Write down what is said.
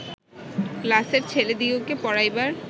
ক্লাসের ছেলেদিগকে পড়াইবার